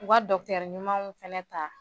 U ka ɲumanw fɛnɛ ta.